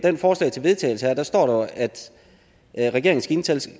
forslag til vedtagelse her står der jo at regeringen skal